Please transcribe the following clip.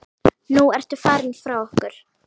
Nú ertu farin frá okkur.